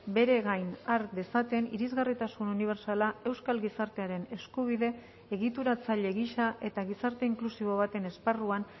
bere gain har dezaten irisgarritasun unibertsala euskal gizartearen eskubide egituratzaile gisa eta gizarte inklusibo baten esparruan